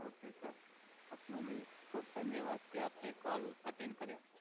okay sir આપનો ભી ખુબ ધન્યવાદ કે આપને કોલ અટેન કર્યો